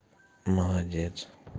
молодец